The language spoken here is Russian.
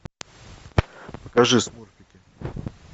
покажи смурфики